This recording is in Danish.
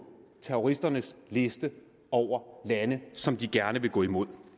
terroristernes liste over lande som de gerne vil gå imod